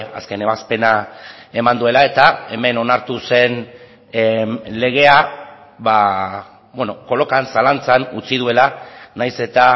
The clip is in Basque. azken ebazpena eman duela eta hemen onartu zen legea kolokan zalantzan utzi duela nahiz eta